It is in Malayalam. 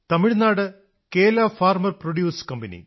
തമിഴ്നാട് കേല ഫാർമർ പ്രൊഡ്യൂസ് കമ്പനി